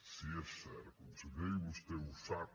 sí és cert conseller i vostè ho sap